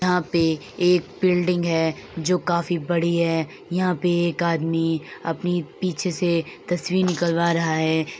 यहां पे एक बिल्डिंग जो काफी बड़ी है। यहाँ पे एक आदमी अपनी पीछे से तस्वीर निकालवा रहा है।